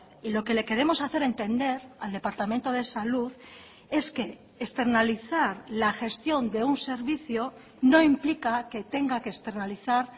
y lo que le queremos hacer entender al departamento de salud es que externalizar la gestión de un servicio no implica que tenga que externalizar